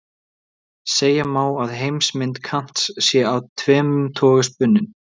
Segja má að heimsmynd Kants sé af tvennum toga spunnin.